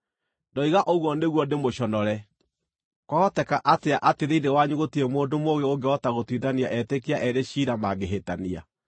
Ndoiga ũguo nĩguo ndĩmũconore. Kwahoteka atĩa atĩ thĩinĩ wanyu gũtirĩ mũndũ mũũgĩ ũngĩhota gũtuithania etĩkia eerĩ ciira mangĩhĩtania?